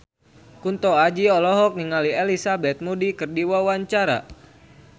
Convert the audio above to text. Kunto Aji olohok ningali Elizabeth Moody keur diwawancara